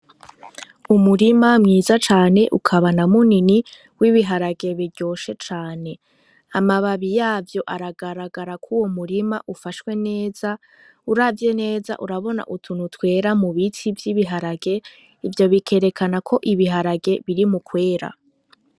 Umurima mwiza cane ukaba na munini w'ibiharage biryoshe cane, amababi yavyo aragaragara ko uwo murima ufashwe neza, uravye neza urabona utuntu twera m biti vy’ibiharage, ivyo bikerekana ko ibiharage biri mu kwera.